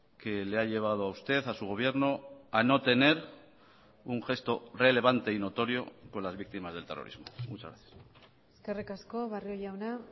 que le ha llevado a usted a su gobierno a no tener un gesto relevante y notorio con las víctimas del terrorismo muchas gracias eskerrik asko barrio jauna